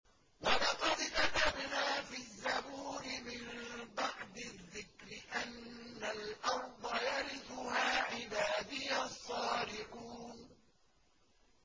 وَلَقَدْ كَتَبْنَا فِي الزَّبُورِ مِن بَعْدِ الذِّكْرِ أَنَّ الْأَرْضَ يَرِثُهَا عِبَادِيَ الصَّالِحُونَ